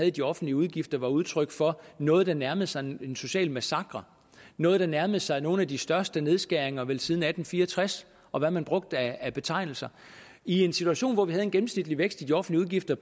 i de offentlige udgifter var udtryk for noget der nærmede sig en social massakre noget der nærmede sig nogle af de største nedskæringer vel siden atten fire og tres og hvad man brugte af betegnelser i en situation hvor vi havde en gennemsnitlig vækst i de offentlige